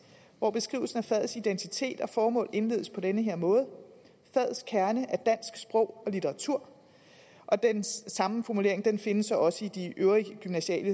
hvor beskrivelsen af fagets identitet og formål indledes på den her måde fagets kerne er dansk sprog og litteratur den samme formulering findes så også i de øvrige gymnasiale